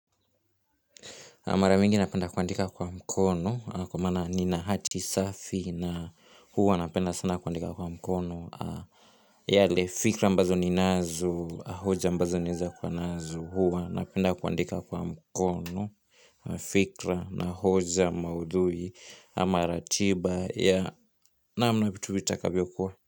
A mara mingi napenda kuandika kwa mkono kwa maana nina hati safi na huwa napenda sana kuandika kwa mkono. Yale fikra ambazo ninazo, hoja ambazo ninaeza kuwa nazo, huwa napenda kuandika kwa mkono. Fikra na hoja maudhui, ama ratiba ya naam na vitu vitakavyo kuwa.